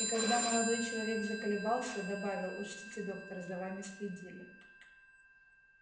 и когда молодой человек заколебался добавил учтите доктор за вами следили